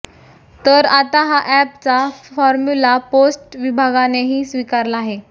तर आता हा अॅपचा फॉर्म्युला पोस्ट विभागानेही स्वीकारला आहे